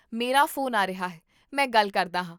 ਮੇਰਾ ਫ਼ੋਨ ਆ ਰਿਹਾ ਹੈ, ਮੈਂ ਗੱਲ ਕਰਦਾ ਹਾਂ